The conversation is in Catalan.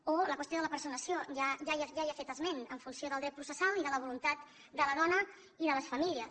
o la qüestió de la personació ja hi ha fet esment en funció del dret processal i de la voluntat de la dona i de les famílies